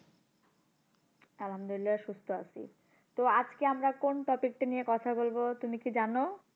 আল্লামদুলিল্লাহ সুস্থ আছি তো আজকে আমরা কোন topic টা নিয়ে কথা বলবো তুমি কি জানো?